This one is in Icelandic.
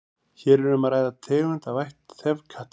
hér er um að ræða tegund af ætt þefkatta